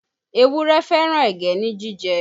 Ewúrẹ́ fẹ́ràn ẹ̀gẹ́ ní jíjẹ